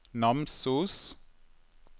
Namsos